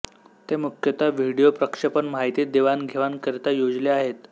ते मुख्यतः व्हिडीओ प्रक्षेपण माहिती देवाण घेवाण करिता योजिले आहेत